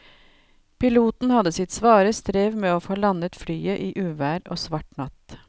Piloten hadde sitt svare strev med å få landet flyet i uvær og svart natt.